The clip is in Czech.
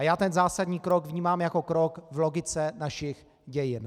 A já ten zásadní krok vnímám jako krok v logice našich dějin.